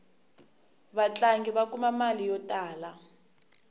vatlangi va kuma mali yo tala